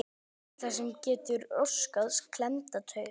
Það er ýmislegt sem getur orsakað klemmda taug.